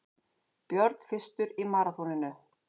Björn fyrstur í maraþoninu